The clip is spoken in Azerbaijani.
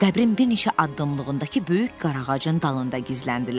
Qəbrin bir neçə addımlığındakı böyük qaraağacın dalında gizləndilər.